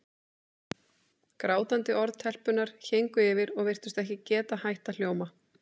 Grátandi orð telpunnar héngu yfir og virtust ekki geta hætt að hljóma.